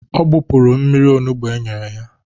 Ọ gbupụrụ mmiri onugbu enyere ya